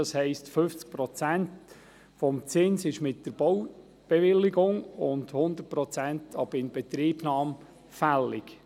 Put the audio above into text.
50 Prozent des Baurechtszinses werden mit der Baubewilligung und 100 Prozent ab Inbetriebnahme fällig.